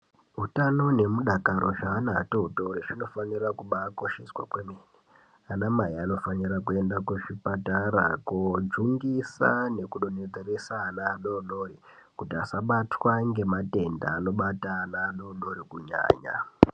Hutano nemudakaro zveana atotori zvinobafanira kubaakosheswa kwemene ana mai anofanira kuenda kuzvipatara kojungisa nekudonhesera ana adodori kuti asabatwa ngematenda anobata ana adodori kunyanya.